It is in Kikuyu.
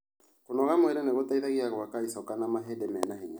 Kũnogora mwĩrĩ nĩgũteithagia gwaka icoka na mahĩndĩ mena hinya.